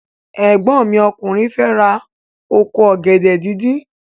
Ẹ̀gbọ́n mi ọkùnrin fẹ ra oko ọ̀gẹ̀dẹ̀ díndín.